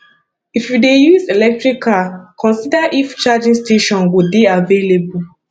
if you dey use electric car consider if charging station go dey available